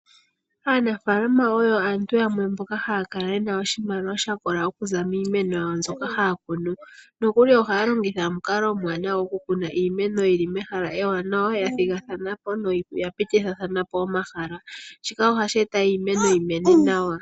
Aanafalama oyo aantu yamwe mboka ha ya kala yena oshimaliwa shakola oku za miimeno mboka ha ya kunu, nokuli oha ya longitha omukalo omwaanawa gokukuna iimeno yawo yili mehala ewanawa ya thigathana po noya pitithithalana po omahala, shika ohasheeta iimeno yi mene nawa.